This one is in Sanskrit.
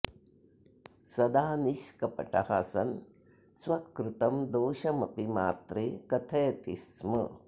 सदा निष्कपटः सन् स्वकृतं दोषमपि मात्रे कथयति स्म